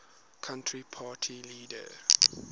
country party leader